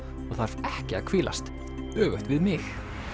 og þarf ekki að hvílast öfugt við mig